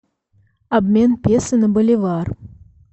обмен песо на боливар